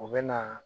U bɛ na